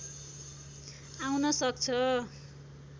आउन सक्छ